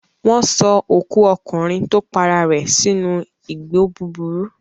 Wọ́n sọ òkú ọkùnrin tó para rẹ̀ sínú igbó búburú.